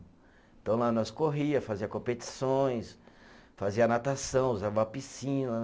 Então lá nós corria, fazia competições, fazia natação, usava a piscina.